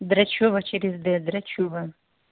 драчёва через д драчёва